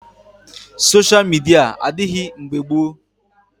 sosha midia adịghị mgbe gboo